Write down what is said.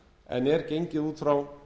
en er gengið út frá